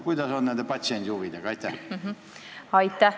Kuidas nende patsiendi huvidega lood on?